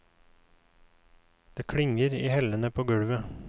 Det klinger i hellene på gulvet.